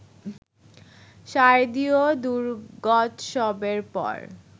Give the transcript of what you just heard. শারদীয় দুর্গোৎসবের পর